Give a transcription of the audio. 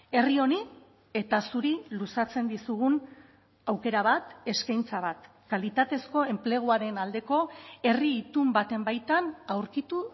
herri honi eta zuri luzatzen dizugun aukera bat eskaintza bat kalitatezko enpleguaren aldeko herri itun baten baitan aurkitu